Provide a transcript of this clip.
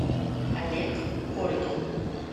олег коргин